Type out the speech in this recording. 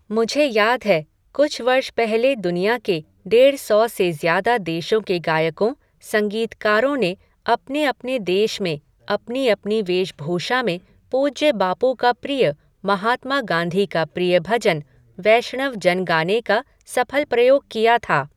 मुझे याद है, कुछ वर्ष पहले दुनिया के डेढ़ सौ से ज्यादा देशों के गायकों, संगीतकारों ने अपने अपने देश में, अपनी अपनी वेशभूषा में पूज्य बापू का प्रिय, महात्मा गाँधी का प्रिय भजन, वैष्णव जन गाने का सफल प्रयोग किया था।